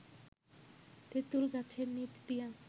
তেঁতুল গাছের নিচ দিয়া